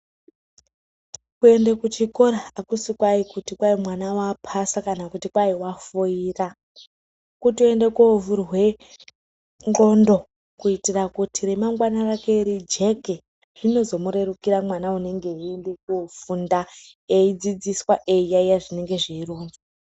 Kwende kuchikora akusi kwai kuti kwai mwana wapasa kana kuti kwai wafoira , kutoende kovhurwe nxondo kuitira kuti ramangwana rake rijeke zvinozomurerukira mwana unenge einde kofunda eidzidziswa eiyayi zvinenge zveironzwa